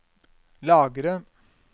lagre